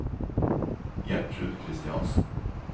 Gjertrud Christiansen